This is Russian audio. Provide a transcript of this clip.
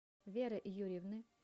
веры юрьевны